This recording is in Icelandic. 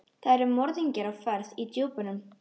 Það eru morðingjar á ferð í djúpunum.